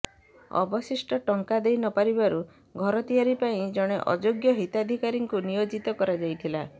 ଅବଶିଷ୍ଟ ଟଙ୍କା ଦେଇ ନପାରିବାରୁ ଘର ତିଆରି ପାଇଁ ଜଣେ ଅଯୋଗ୍ୟ ହିତାଧିକାରୀଙ୍କୁ ନିୟୋଜିତ କରାଯାଇଥିଲା